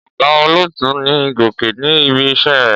Ọ̀gá olótùú ni Gòkè ní ibi-iṣẹ́ rẹ̀.